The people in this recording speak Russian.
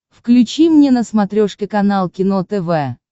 включи мне на смотрешке канал кино тв